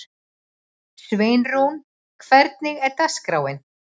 Sveinrún, hvernig er dagskráin?